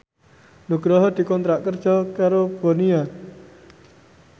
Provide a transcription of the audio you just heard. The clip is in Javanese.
Nugroho dikontrak kerja karo Bonia